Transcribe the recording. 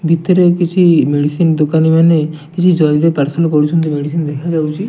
ଭିତରେ କିଛି ମେଡିସିନ୍ ଦୋକାନିମାନେ କିଛି ଜଲ୍ଦି ପାର୍ସଲ କରୁଛନ୍ତି ମେଡିସିନ୍ ଦେଖାଯାଉଚି।